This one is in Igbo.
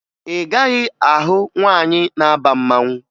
Ị gaghị ahụ nwaanyị na-aba mmanwụ